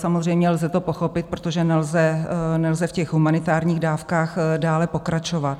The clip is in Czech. Samozřejmě lze to pochopit, protože nelze v těch humanitárních dávkách dále pokračovat.